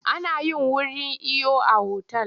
A nayin wuri iyo a otal.